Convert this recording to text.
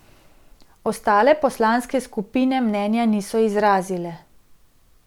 Ostale poslanske skupine mnenja niso izrazile.